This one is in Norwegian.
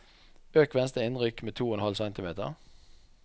Øk venstre innrykk med to og en halv centimeter